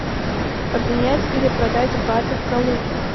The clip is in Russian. обменять или продать баты в калуге